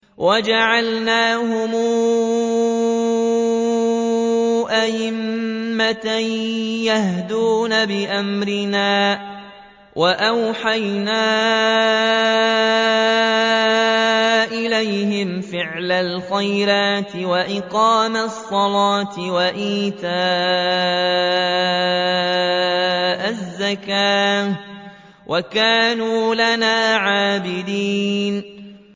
وَجَعَلْنَاهُمْ أَئِمَّةً يَهْدُونَ بِأَمْرِنَا وَأَوْحَيْنَا إِلَيْهِمْ فِعْلَ الْخَيْرَاتِ وَإِقَامَ الصَّلَاةِ وَإِيتَاءَ الزَّكَاةِ ۖ وَكَانُوا لَنَا عَابِدِينَ